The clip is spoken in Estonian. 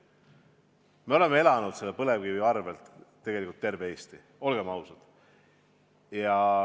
Me oleme elanud põlevkivi arvel, tegelikult terve Eesti on elanud, olgem ausad.